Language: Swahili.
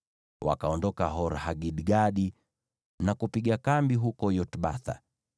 Wakaondoka Hor-Hagidgadi na kupiga kambi huko Yotbatha.